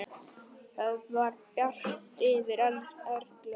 Það var bjart yfir Erlu.